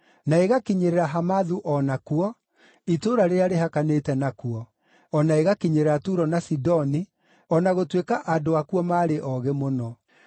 na ĩgakinyĩrĩra Hamathu o nakuo, itũũra rĩrĩa rĩhakanĩte nakuo, o na ĩgakinyĩrĩra Turo na Sidoni, o na gũtuĩka andũ akuo maarĩ oogĩ mũno.